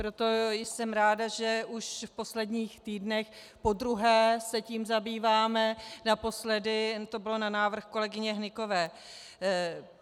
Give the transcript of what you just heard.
Proto jsem ráda, že už v posledních týdnech podruhé se tím zabýváme, naposledy to bylo na návrh kolegyně Hnykové.